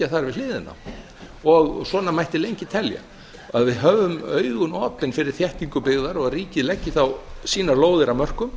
þar við hliðina á svona mætti lengi telja að við hefðum augum opin fyrir þéttingu byggðar og að ríkið leggi þá sínar lóðir að mörkum